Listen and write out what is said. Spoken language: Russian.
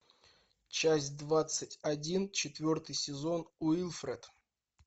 часть двадцать один четвертый сезон уилфред